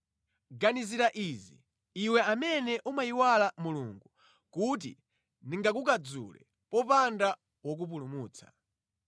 “Ganizira izi, iwe amene umayiwala Mulungu kuti ndingakukadzule popanda wokupulumutsa: